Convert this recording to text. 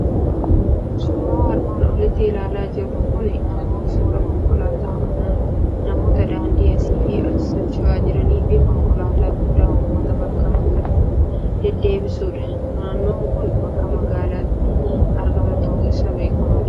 Suuraan armaan olitti ilaalaa jirru kuni immoo suuraa konkolaataa manaa, namoota daandii asiif achi socho'aa jiranii fi konkolaataa guddaa uummata bakkaa bakkatti deddeebisudha. Naannoon kun bakka magaalatti argamu ta'uun isaa beekamaadha.